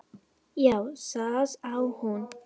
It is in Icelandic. Já, það á hún.